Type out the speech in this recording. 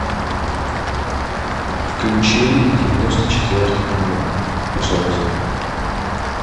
включи девяносто четвертый канал пожалуйста